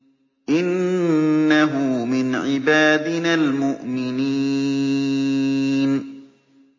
إِنَّهُ مِنْ عِبَادِنَا الْمُؤْمِنِينَ